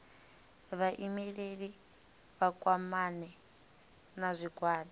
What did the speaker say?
vhaimeleli vha kwamane na zwigwada